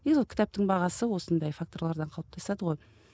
негізі ол кітаптың бағасы осындай факторлардан қалыптасады ғой